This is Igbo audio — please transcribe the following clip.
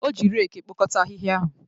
O ji reeku ekpokọta ahịhịa ahụ